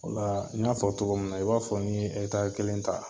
Ola n y'a fɔ cogo min na, i b'a fɔ ni ye ɛkitari kelen ta